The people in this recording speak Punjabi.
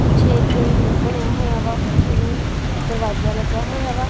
ਪਿੱਛੇ ਇੱਕ ਰੂਮ ਬਣਿਆ ਹੋਯਾ ਵਾ ਓਹਨੂੰ ਦਰਵਾਜਾ ਲੱਗਾ ਹੋਇਆ ਵਾ।